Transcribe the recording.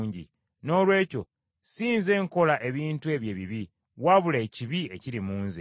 Noolwekyo si nze nkola ebintu ebyo ebibi, wabula ekibi ekiri mu nze.